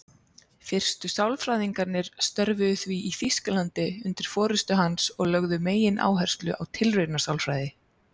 Fyrstu sálfræðingarnir störfuðu því í Þýskalandi undir forystu hans og lögðu megináherslu á tilraunasálfræði.